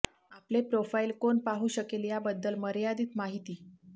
आपले प्रोफाइल कोण पाहू शकेल याबद्दल मर्यादित माहिती